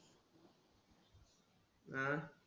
आह